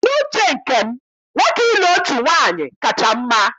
N'uche nke m, nwoke ịlụ otu nwaanyị kacha mma